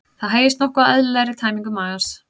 Það hægist nokkuð á eðlilegri tæmingu magans.